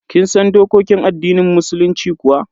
Kin san dokokin addinin musulunci kuwa?